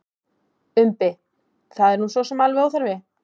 Umbi: Það er nú sosum alveg óþarfi.